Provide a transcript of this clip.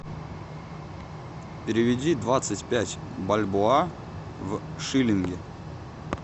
переведи двадцать пять бальбоа в шиллинги